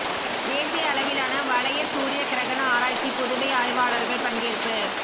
தேசிய அளவிலான வளைய சூரிய கிரகண ஆராய்ச்சி புதுவை ஆய்வாளா்கள் பங்கேற்பு